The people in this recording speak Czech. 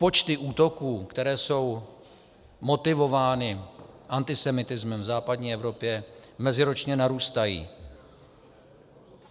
Počty útoků, které jsou motivovány antisemitismem, v západní Evropě meziročně narůstají.